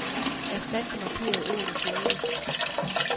Erstat det markerede ord med følgende.